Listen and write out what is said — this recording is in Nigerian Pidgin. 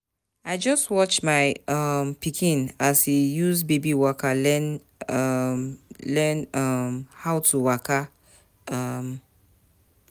I just watch my um pikin as e use baby walker learn um learn um how to waka. um